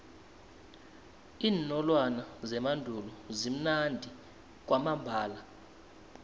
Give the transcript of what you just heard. iinolwana zemandulo zimnandi kwamambala